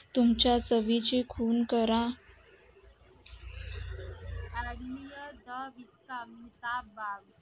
तुमच्या चवीची खून करा मेहता बाग